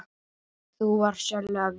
Þú varst sérlega vel gefin.